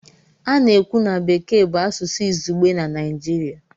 A na-ekwu na Bekee bụ asụsụ izugbe na Naịjirịa.